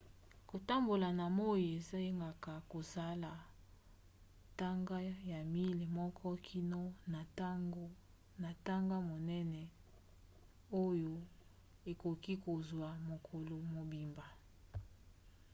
kotambola na moi esengaka kosala ntaka ya miles moko kino na ntaka monene oyo ekoki kozwa mokolo mobimba